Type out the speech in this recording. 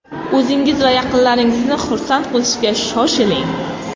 O‘zingiz va yaqinlaringizni xursand qilishga shoshiling!